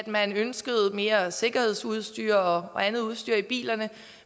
man ønskede mere sikkerhedsudstyr og andet udstyr i bilerne